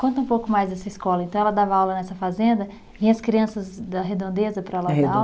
Conta um pouco mais dessa escola, então ela dava aula nessa fazenda, e as crianças da Redondeza para ela dar aula?